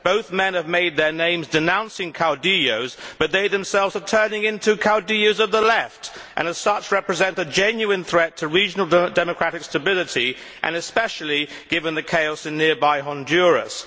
Both men have made their names denouncing caudillos but they themselves are turning into caudillos of the Left and, as such, represent a genuine threat to regional democratic stability, especially given the chaos in nearby Honduras.